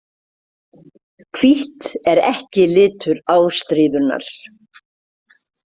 Hvítt er ekki litur ástríðunnar.